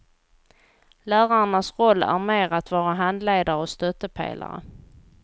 Lärarnas roll är mer att vara handledare och stöttepelare.